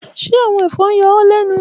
Ṣe awọn efon n yọ ọ lẹnu?